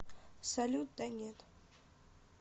салют да нет